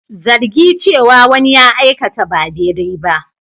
Zargi cewa wani ya aikata ba daidai ba.